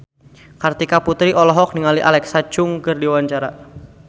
Kartika Putri olohok ningali Alexa Chung keur diwawancara